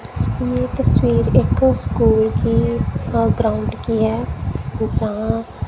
ये तस्वीर एक स्कूल की अह ग्राउंड की है जहां--